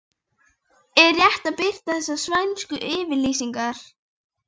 Er rétt að birta þessar svæsnu yfirlýsingar?